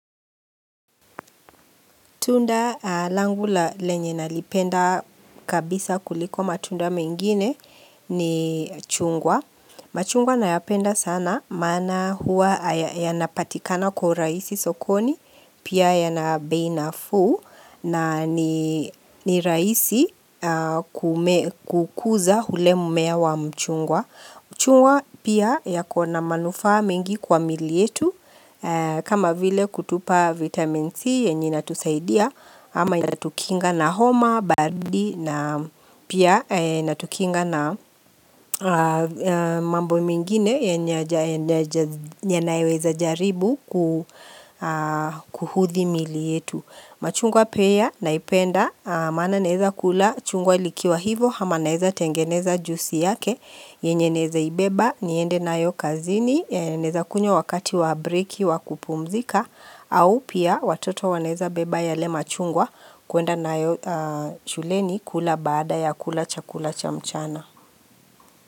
Tunda langu lenye nalipenda kabisa kuliko matunda mengine ni chungwa. Machungwa na yapenda sana maana hua yanapatikana kwa urahisi sokoni pia yana bei nafuu na ni rahisi kukuza ule mmea wa mchungwa. Chungwa pia ya kona manufaa mingi kwa miili yetu kama vile kutupa vitamin C yenye ina tusaidia ama inatukinga na homa, baridi na pia inatukinga na mambo mengine yanayoweza jaribu kuhudhi mili yetu. Machungwa pia naipenda maana naweza kula chungwa likiwa hivyo hama naweza tengeneza juisi yake yenye naweza ibeba niende nayo kazini naweza kunywa wakati wabreak wakupumzika au pia watoto wanaweza beba yale machungwa kuenda na yo shuleni kula baada ya kula chakula chamchana.